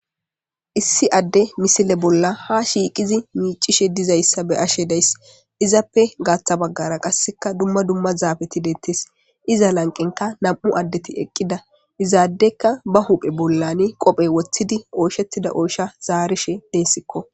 issi adde misile bolla ha shiiqizi miicishe dizayssa be ashe deys izappe gaaththa baggara qasseka dumma dumma zaabeti dettees iza lanqenka nam7u addeti eqqida izaadekka ba huphe bollane qophey woththidi ooshettida oosha zaarishe deessikko